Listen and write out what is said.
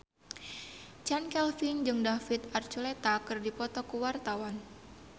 Chand Kelvin jeung David Archuletta keur dipoto ku wartawan